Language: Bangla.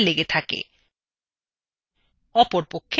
কোনো objectএর glue পয়েন্টসএর সাথে লেগে থাকে